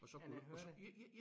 Og så kunne man høre det